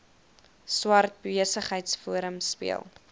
swart besigheidsforum speel